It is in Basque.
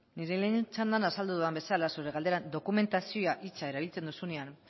nire lehen txandan azaldu dudan bezala zure galdera dokumentazioa hitza erabiltzen duzuenean